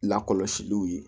Lakɔlɔsiliw ye